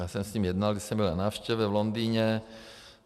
Já jsem s ním jednal, když jsem byl na návštěvě v Londýně.